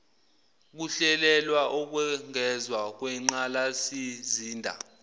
kuhlelelwa ukwengezwa kwenqgalasizinda